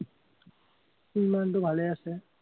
সি মানুহটো ভালে আছে।